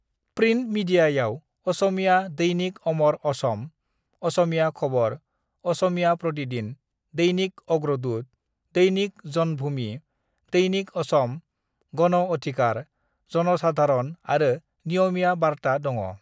"Print मीडियायाव असमिया दैनिक अमर असम, असमिया खबर, असमिया प्रतिदिन, दैनिक अग्रदूत, दैनिक जनभूमि, दैनिक असम, गण अधिकार, जनसाधारण आरो नियमिया बार्ता दङ।"